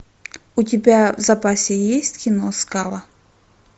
у тебя в запасе есть кино скала